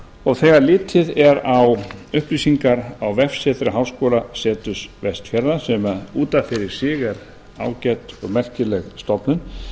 og þegar litið er á upplýsingar á vestri háskólaseturs vestfjarða sem út af fyrir sig er ágæt og merkileg stofnun